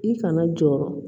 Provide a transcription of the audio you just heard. I kana jɔɔrɔ